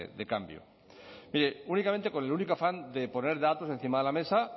de cambio mire únicamente con el único afán de poner datos encima de la mesa